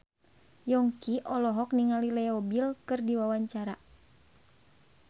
Yongki olohok ningali Leo Bill keur diwawancara